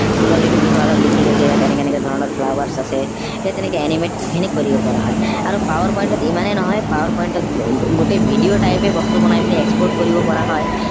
ফুলনিটোৰ বিষয়ে অলপ লিখিলো যে ইয়াত এনেকে এনেকে ধৰনৰ flowers আছে সেই তেনেকে animate খিনি কৰিব পৰা হয় আৰু power point ত ইমানেই নহয় power point ত গোটেই video type এ বস্তু বনাই export কৰিব পৰা হয়